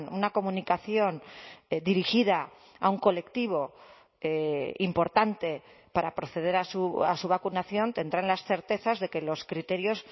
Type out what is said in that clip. una comunicación dirigida a un colectivo importante para proceder a su vacunación tendrán las certezas de que los criterios